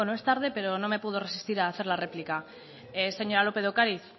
es tarde pero no me puedo resistir a hacer la réplica señora lópez de ocariz